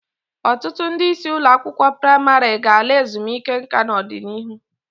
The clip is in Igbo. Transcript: Ọtụtụ ndị isi ụlọakwụkwọ praịmarị ga-ala ezumike nka n'ọdịnihu.